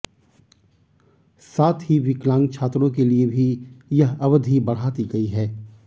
साथ ही विकलांग छात्रों के लिए भी यह अवधि बढ़ा दी गयी है